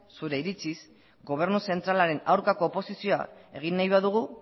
zure iritziz gobernu zentralaren aurkako oposizioa egin nahi badugu